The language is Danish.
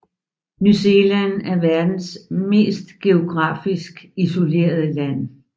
New Zealand er verdens mest geografisk isolerede land